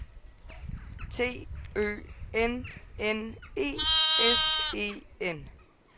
T Ø N N E S E N